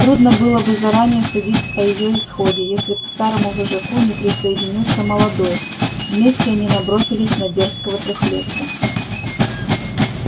трудно было бы заранее судить о её исходе если б к старому вожаку не присоединился молодой вместе они набросились на дерзкого трёхлетка